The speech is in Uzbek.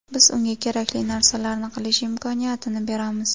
Biz unga kerakli narsalarni qilish imkoniyatini beramiz.